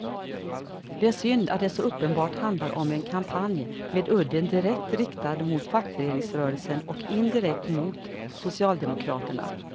Det är synd att det så uppenbart handlar om en kampanj med udden direkt riktad mot fackföreningsrörelsen och indirekt mot socialdemokraterna.